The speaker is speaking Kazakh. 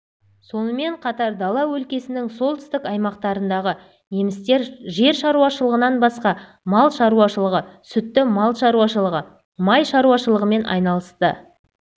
сонымен қатар дала өлкесінің солтүстік аймақтарындағы немістер жер шаруашылығынан басқа мал шаруашылығы сүтті мал шаруашылығы май шаруашылығымен айналысты